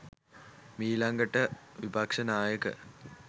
මීලඟට විපක්‍ෂනායක